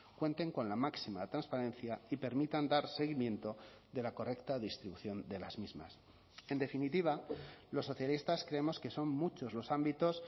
cuenten con la máxima transparencia y permitan dar seguimiento de la correcta distribución de las mismas en definitiva los socialistas creemos que son muchos los ámbitos